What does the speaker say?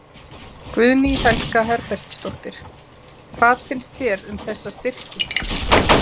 Guðný Helga Herbertsdóttir: Hvað finnst þér um þessa styrki?